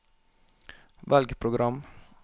velg program